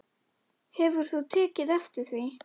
Hefur þú tekið eftir því?